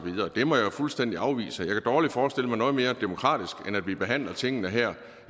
må jeg fuldstændig afvise jeg kan dårligt forestille mig noget mere demokratisk end at vi behandler tingene her